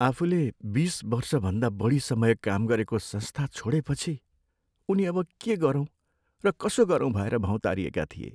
आफूले बिस वर्षभन्दा बढी समय काम गरेको संस्था छोडेपछि, उनी अब के गरौँ र कसो गरौँ भएर भौँतारिएका थिए।